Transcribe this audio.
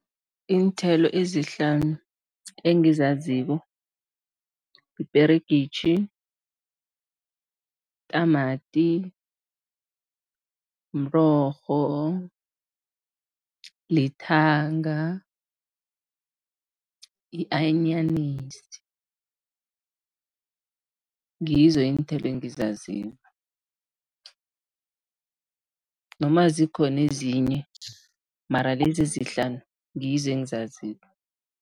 Iinthelo ezihlanu engizaziko, iperegitjhi, itamati, mrorho, lithanga i-anyanisi, ngizo iinthelo engizaziko noma zikhona ezinye, mara lezi ezihlanu, ngizo engizaziko.